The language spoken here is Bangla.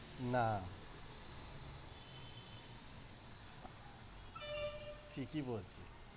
না ঠিকই বলি।